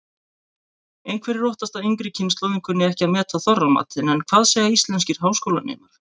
Einhverjir óttast að yngri kynslóðin kunni ekki að meta Þorramatinn en hvað segja íslenskir háskólanemar?